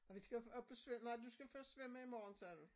Og vi skal også op og svøm nej du skal først svømme i morgen sagde du